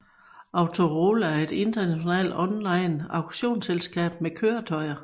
Autorola er et international online auktionsselskab med køretøjer